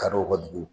Kadɔw ka dugu